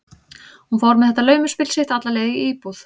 Hún fór með þetta laumuspil sitt alla leið inn í íbúð